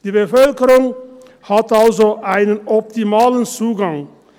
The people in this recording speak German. Die Bevölkerung hat also einen optimalen Zugang.